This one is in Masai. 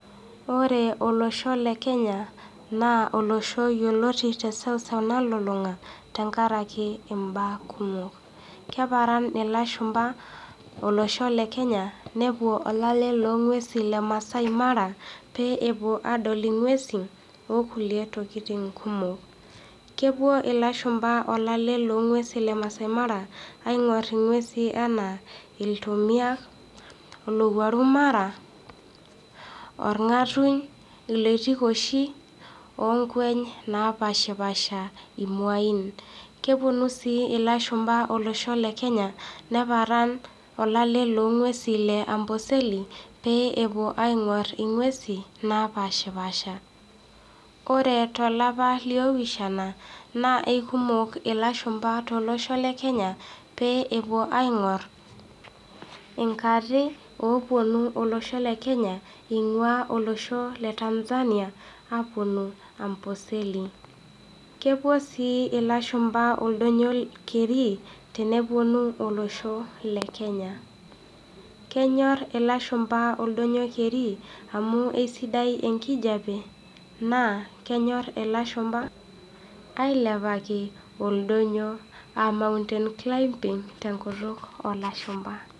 Ore oloshoo le kenya naa olosho yeloti te seuseu nalulunga tengaraki imbaa kumok, keparan loshumba olosho le kenya nepo olale ne inguesi le Maasai Mara pee epo aadol inguesin ookule tokitin kumok. Kepo illashumba olale le nguesin le Maasai Mara aing'or inguesi anaa ltomia, olowuaru mara ,orgatuny, oloitikoshi oonkweny napaashipaasha imwainn, keponi sii illashumba losho le kenya [ neparan olale loo nguesi le amboseli pee epo aing'orr inguesi naapashipaasha. Kore te lapa le opishana naa ekumok ilashumba te losho le kenya pee epo aing'orr in'arri ooponu ilosho le kenya einguaa olosho le Tanzania aaponu Amboseli ,kepo sii illashumba ildonyio kerri teneponu oloshoo le kenya. Kenyorr illashumba oldonyio kerri amuu esidai enkijepe naa kenyorr ilashumba ailapaki oldonyio aa mountain climbimg te nkutuk elashumba.